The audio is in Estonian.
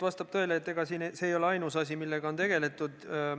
Vastab tõele, et see ei ole ainus eelnõu, millega on tegeletud.